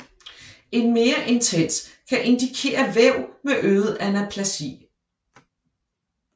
En mere intens kan indikere væv med øget anaplasi